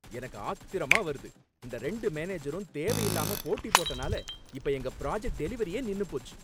எனக்கு ஆத்திரமா வருது, இந்த ரெண்டு மேனேஜரும் தேவையில்லாம போட்டி போட்டனால இப்ப எங்க ப்ராஜெக்ட் டெலிவரியே நின்னுபோச்சு.